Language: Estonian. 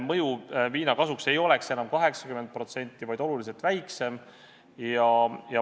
Rõhutan, et need muudatused, mis on pakutud, tulenevad KPMG analüüsist.